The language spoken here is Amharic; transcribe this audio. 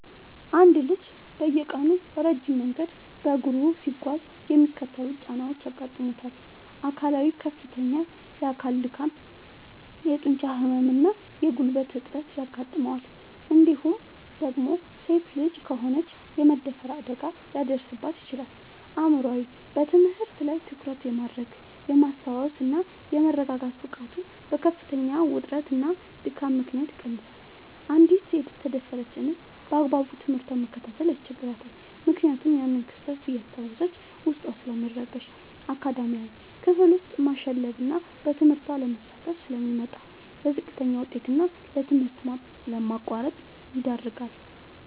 አንድ ልጅ በየቀኑ ረጅም መንገድ በእግሩ ሲጓዝ የሚከተሉት ጫናዎች ያጋጥሙታል፦ አካላዊ፦ ከፍተኛ የአካል ድካም፣ የጡንቻ ህመም እና የጉልበት እጥረት ያጋጥመዋል እንዲሁም ደግሞ ሴት ልጅ ከሆነች የመደፈር አደጋ ሊደርስባት ይችላል። አእምሯዊ፦ በትምህርት ላይ ትኩረት የማድረግ፣ የማስታወስ እና የመረጋጋት ብቃቱ በከፍተኛ ውጥረትና ድካም ምክንያት ይቀንሳል: አንዲት የተደፈረች እንስት ባግባቡ ትምህርቷን መከታተል ያስቸግራታል ምክንያቱም ያንን ክስተት እያስታወሰች ዉስጧ ስለሚረበሽ። አካዳሚያዊ፦ ክፍል ውስጥ ማሸለብና በትምህርቱ አለመሳተፍ ስለሚመጣ: ለዝቅተኛ ውጤት እና ለትምህርት ማቋረጥ ይዳረጋል።